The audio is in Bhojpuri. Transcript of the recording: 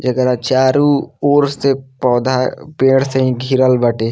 एकरा चारू ओर से पौधा पेड़ से इ घिरल बाटे।